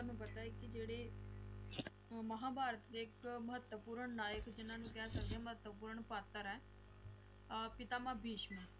ਤੁਹਾਨੂੰ ਪਤਾ ਹੈ ਕਿ ਜਿਹੜੇ ਮਹਾਭਾਰਤ ਦੇ ਇਕ ਮਹੱਤਵਪੂਰਨ ਨਾਇਕ ਜਿੰਨਾ ਨੂੰ ਕਹਿ ਸਕਦੇ ਆ ਮਹਤਵਪੂਰਣ ਪਾਤਰ ਏ ਅਹ ਪਿਤਾਮਹ ਭੀਸ਼ਮ